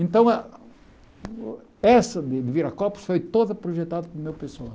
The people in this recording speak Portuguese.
Então, ah essa de Viracopos foi toda projetada pelo meu pessoal.